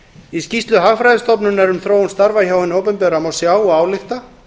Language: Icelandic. í skýrslu hagfræðistofnunar um þróun starfa hjá hinu opinbera má sjá og álykta